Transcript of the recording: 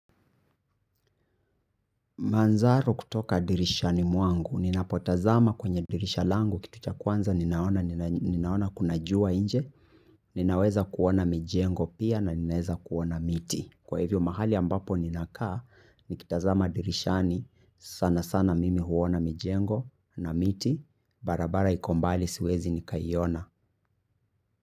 Manzaru kutoka dirishani mwangu, ninapotazama kwenye dirisha langu kitu cha kwanza ninachoona ni ninaona kuna jua inje, ninaweza kuona mijengo pia na ninaweza kuona miti. Kwa hivyo mahali ambapo ninakaa, nikitazama dirishani, sana sana mimi huona mijengo na miti, barabara iko mbali siwezi nikaiona.